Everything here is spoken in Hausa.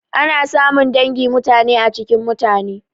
Ana samun dangi mutane a cikin mutane.